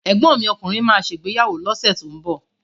Ẹ̀gbọ́n mi ọkùnrin má ṣè ìgbéyàwó lọ́sẹ̀ tó ń bọ̀